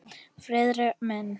Friðrik minn!